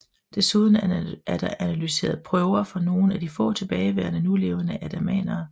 Desuden er der analyseret prøver fra nogle af de få tilbageværende nulevende andamanere